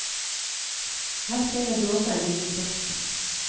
Her finner du også en liten kiosk.